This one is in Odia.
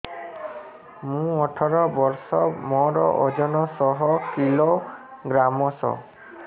ମୁଁ ଅଠର ବର୍ଷ ମୋର ଓଜନ ଶହ କିଲୋଗ୍ରାମସ